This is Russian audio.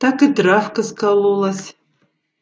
так и травка скололась